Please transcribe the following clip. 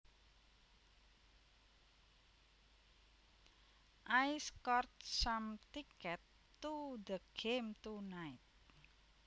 I scored some tickets to the game tonight